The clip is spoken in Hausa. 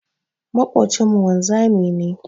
Maƙocinmu wanzami ne.